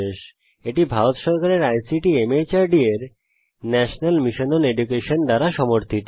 এটি ভারত সরকারের ICT MHRD এর ন্যাশনাল মিশন ওন এডুকেশন দ্বারা সমর্থিত